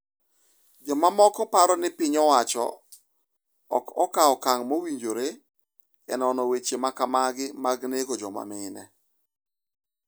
Jomoko paro ni piny owacho ok kaw okang’ mowinjore e nono weche ma kamagi mag nego joma mine.